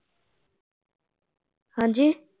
ਹਾਂਜੀ